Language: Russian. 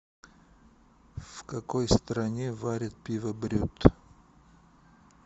в какой стране варят пиво брют